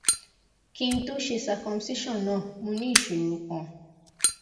ki n to se circumcision na mo ni isoro kan